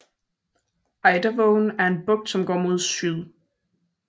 Eidavågen er en bugt som går mod syd